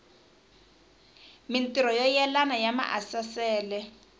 mintirho yo yelana ya maasesele